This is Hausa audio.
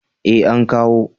Eh an kawo